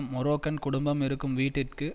Moroccan குடும்பம் இருக்கும் வீட்டிற்கு